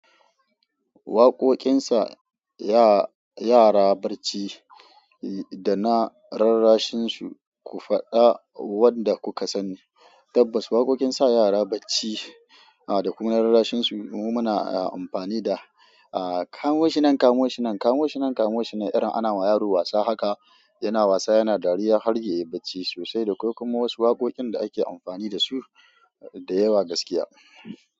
Waƙoƙin sa yara barci da na rarrashin su ku faɗa wanda ku ka sani. Tabbas waƙoƙin sa yara barci da kuma na rarrashin su mu na amfani da "Kamo shi nan, kamo shi nan, kamo shi nan, kamo shi nan" irin ana wa yaro wasa haka yana wasa yana dariya har ya yi barci sosai. Da akwai kuma wasu waƙoƙin da ake amfani da su da yawa gaskiya.